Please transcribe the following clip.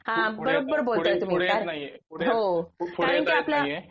हा बरोबर बोलताय तुम्ही हो करण की आपल्या